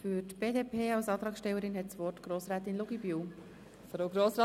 Für die BDP als Antragstellerin hat Grossrätin Luginbühl das Wort.